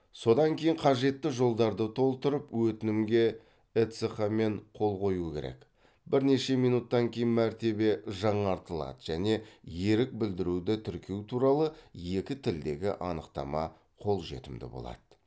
содан кейін қажетті жолдарды толтырып өтінімге эцқ мен қол қою керек бірнеше минуттан кейін мәртебе жаңартылады және ерік білдіруді тіркеу туралы екі тілдегі анықтама қолжетімді болады